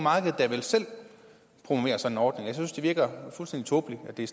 da vel selv promovere sådan en ordning jeg synes det virker fuldstændig tåbeligt at det